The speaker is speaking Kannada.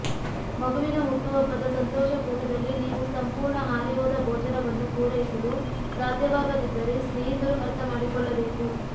ಮಗುವಿನ ಹುಟ್ಟುಹಬ್ಬದ ಸಂತೋಷಕೂಟದಲ್ಲಿ ನೀವು ಸಂಪೂರ್ಣ ಹಾರಿಹೋದ ಭೋಜನವನ್ನು ಪೂರೈಸಲು ಸಾಧ್ಯವಾಗದಿದ್ದರೆ ಸ್ನೇಹಿತರು ಅರ್ಥಮಾಡಿಕೊಳ್ಳಬೇಕು